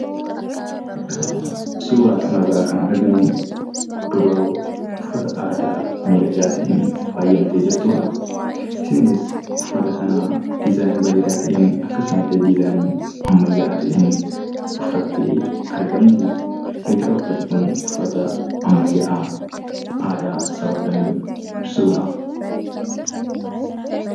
Suuraa kana irraa kan arginuu, dubaroo uffata aadaa midhagaa ta'een faayyamtee jirtuudha. Isheenis, uffata kana dizaayinii bareedaa ta'een, akkasuma illee dizaayinii ammayyaa'aa ta'een uffattee argamti. Eega uffati kun uffata ammayyaa'aa aadaa sabaa kamii ibsuudha?